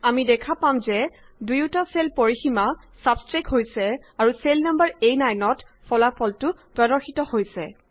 আমি দেখা পাম যে দুয়োটা চেল পৰিসীমা ছাব্ছষ্ট্ৰেক্ট হৈছে আৰু চেল নাম্বাৰ A9 ত ফলাফল ৰেজাল্টটো প্ৰদৰ্শিত হৈছে